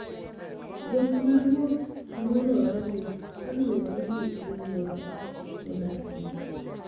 Dhok ma ruoth nyuolorego kaluwore gi alwora modakie.